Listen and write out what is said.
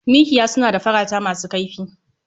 Miƙiya suna da farata masu kaifi.